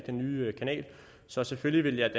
den nye kanal så selvfølgelig vil jeg